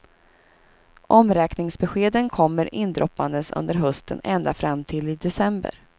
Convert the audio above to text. Omräkningsbeskeden kommer indroppandes under hösten ända fram till i december.